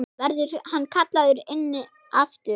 Verður hann kallaður inn aftur?